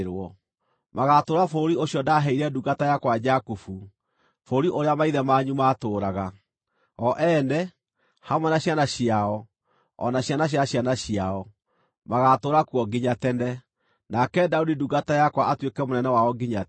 Magaatũũra bũrũri ũcio ndaaheire ndungata yakwa Jakubu, bũrũri ũrĩa maithe manyu maatũũraga. O ene, hamwe na ciana ciao, o na ciana cia ciana ciao, magaatũũra kuo nginya tene, nake Daudi ndungata yakwa atuĩke mũnene wao nginya tene.